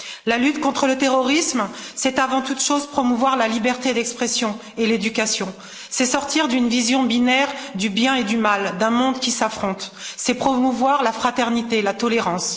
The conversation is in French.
La lutte contre le terrorisme, c'est avant toute chose promouvoir la liberté d'expression et l'éducation, c'est sortir d'une vision binaire du bien et du mal, d'un monde qui s'affronte, c'est promouvoir la fraternité, la tolérance.